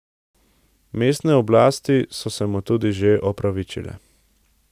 Mestne oblasti so se mu tudi že opravičile.